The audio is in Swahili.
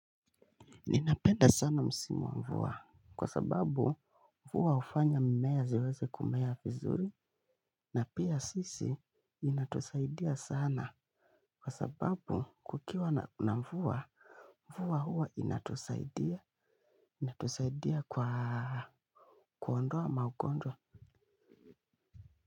Ninapenda sana msimu wa mvua kwa sababu mvua hufanya mmea ziweze kumea vizuri na pia sisi inatusaidia sana kwa sababu kukiwa na mvua mvua huwa inatusaidia inatusaidia kwa kuondoa magonjwa.